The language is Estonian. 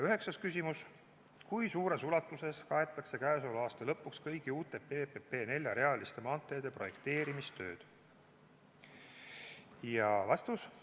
Üheksas küsimus: "Kui suures ulatuses kaetakse käesoleva aasta lõpuks kõigi uute PPP neljarealiste maanteede projekteerimistööd?